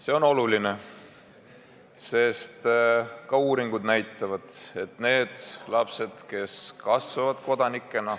See on oluline, sest ka uuringud näitavad, et nendel lastel, kes kasvavad kodanikena,